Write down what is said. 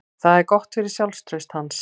Það er gott fyrir sjálfstraust hans.